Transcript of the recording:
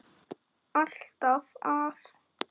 Alltaf að.